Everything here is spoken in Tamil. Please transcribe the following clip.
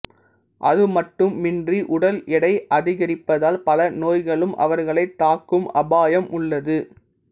அது மட்டும் மின்றி உடல் எடை அதிகரிப்பதால் பல நோய்களும் அவர்களைத் தாக்கும் அபாயம் உள்ளது